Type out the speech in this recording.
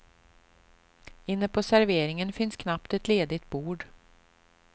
Inne på serveringen fanns knappt ett ledigt bord.